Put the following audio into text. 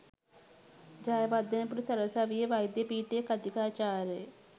ජයවර්ධනපුර සරසවියේ වෛද්‍ය පීඨයේ කථිකාචාර්ය